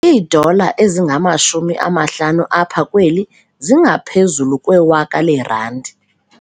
Iidola ezingamashumi amahlanu apha kweli zingaphezu kwewaka leerandi.